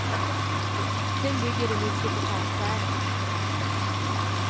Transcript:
Sen bygger det mycket på karaktärerna.